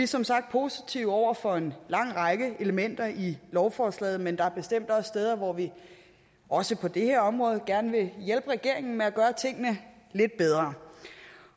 som sagt positive over for en lang række elementer i lovforslaget men der er bestemt også steder hvor vi også på det her område gerne vil hjælpe regeringen med at gøre tingene lidt bedre